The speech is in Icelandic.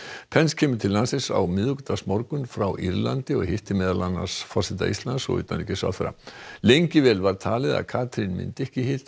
pence kemur til landsins á miðvikudagsmorgun frá Írlandi og hittir meðal annars forseta Íslands og utanríkisráðherra lengi vel var talið að Katrín myndi ekki hitta